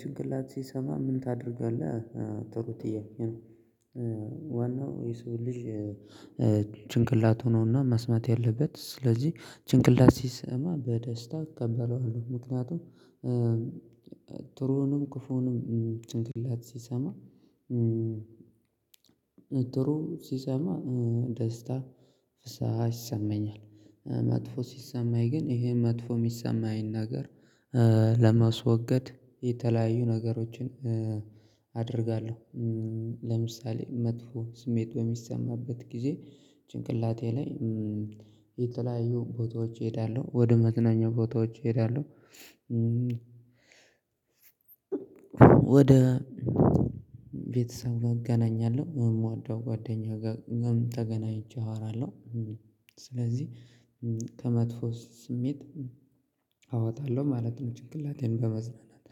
ጭንቅላት ሲሰማ ምን ታደርጋለህ? ጥሩ ጥያቄ ነው። ዋናው የሰው ልጅ ጭንቅላት ሆኖና ማስማት ያለበት። ስለዚህ ጭንቅላት ሲሰማ በደስታ እቀበለዋለሁ። ምክንያቱም ጥሩንም ክፉንም ጭንቅላት ሲሰማ ነጥሩ ሲሰማ ደስታ ፍስሃ ይሰማኛል። መጥፎ ሲሰማኝ ግን ይሄ መጥፎ የሚሰማኝ ነገር ለመስወገድ የተለያዩ ነገሮችን አደርጋለሁ። ለምሳሌ መጥፎ ስሜት በሚሰማበት ጊዜ ጭንቅላቴ ላይ የተለያዩ ቦታዎች እሄዳለሁ። ወደ መዝናኛ ቦታዎች እሄዳለሁ። ወደ ቤተሰብ ጋር እገናኛለሁ። የምወደው ጓደኛ ጋር ምን ተገናኝቼ አወራለሁ ስለዚህ ከመጥፎ ስሜት አወጣለሁ ማለት ነው። ጭንቅላቴን በመዝናናት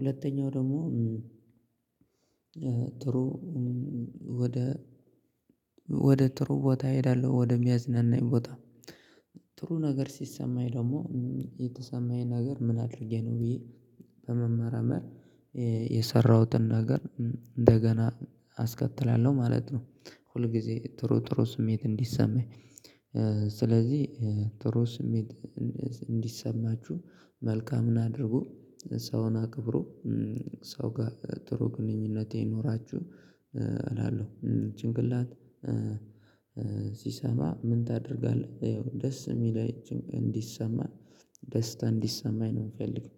ሁለተኛው ደግሞ ጥሩ እ ወደ ወደ ጥሩ ቦታ እሄዳለሁ። ወደሚያዝናናኝ ቦታ። ጥሩ ነገር ሲሰማኝ ደግሞ የተሰማኝ ነገር ምን አድርጌ ነው። ብዬ በመመራመር የሰራሁትን ነገር እንደገና አስከትላለሁ ማለት ነው ሁል ጊዜ ጥሩ ጥሩ ስሜት እንዲሰማኝ። ስለዚህ ጥሩ ስሜት እንዲሰማችሁ መልካምን አድርጉ፣ ሰውን አክብሩ፣ ሰው ጋር ጥሩ ግንኙነቴ ይኖራችሁ፣ እላለሁ። ጭንቅላት ሲሰማ ምን ታደርጋለህ? ይኸው ደስ የሚል እንዲሰማ ደስታ እንዲሰማኝ ነው የምፈልገው።